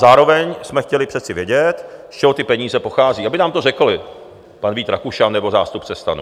Zároveň jsme chtěli přece vědět, z čeho ty peníze pochází, aby nám to řekli, pan Vít Rakušan nebo zástupce STAN.